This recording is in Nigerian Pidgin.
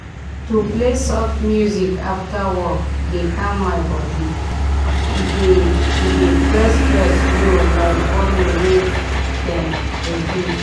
to play soft music after work dey calm my body e dey e dey press stress low like volume wey dem reduce.